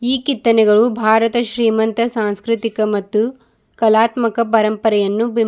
ಈ ಕಿತ್ತನೆಗಳು ಭಾರತ ಶ್ರೀಮಂತ ಸಾಂಸ್ಕೃತಿಕ ಮತ್ತು ಕಲಾತ್ಮಕ ಪರಂಪರೆಯನ್ನು ಬಿಂಬಿ--